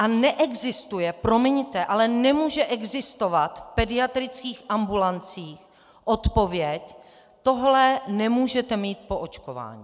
A neexistuje, promiňte, ale nemůže existovat v pediatrických ambulancích odpověď - tohle nemůžete mít po očkování.